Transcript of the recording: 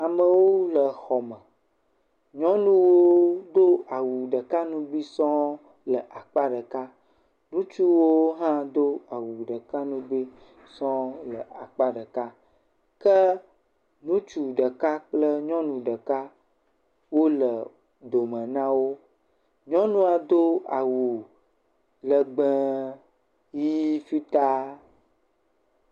Amewo le xɔ me, nyɔnuwo do awu ɖeka ŋugbɛ̃ sɔŋ le akpa ɖeka eye ŋutsuawo hã do awu ɖeka ŋugbe sɔŋ le akpa ɖeka. Ke ŋutsu ɖeka kple nyɔnu ɖeka wole dome na wo, nyɔnua do awu legbe ʋɛ̃ fitaa.